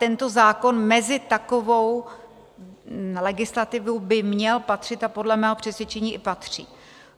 Tento zákon mezi takovou legislativu by měl patřit a podle mého přesvědčení i patří.